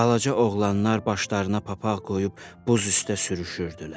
Balaca oğlanlar başlarına papaq qoyub buz üstdə sürüşürdülər.